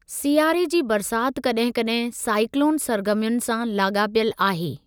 सियारे जी बरसाति कॾहिं कॾहिं साईकलोन सरगर्मियुनि सां लाॻापियलु आहे।